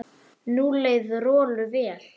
Nú leið Rolu vel.